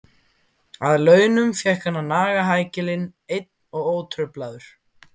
Að launum fékk hann að naga hækilinn einn og ótruflaður.